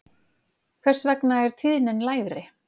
Hvers vegna er tíðnin lægri?